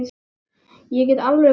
Ég get alveg komið inn.